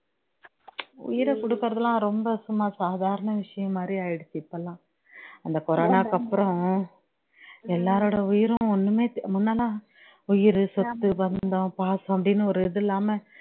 உயிரை கொடுக்குறதுலாம் ரொம்ப சும்மா சாதாரண விஷயம் மாதிரி ஆகிருச்சு இப்போலாம் அந்த corona க்கு அப்பறம் எல்லாரோடைய உயிரும் ஒண்ணுமே த் முன்னெல்லாம் உயிரு, சொத்து, பந்தம், பாசம் அப்படின்னு ஒரு இது இல்லாம